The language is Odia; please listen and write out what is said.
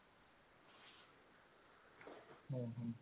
ହୁଁ ହୁଁ